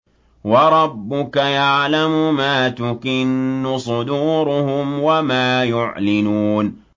وَرَبُّكَ يَعْلَمُ مَا تُكِنُّ صُدُورُهُمْ وَمَا يُعْلِنُونَ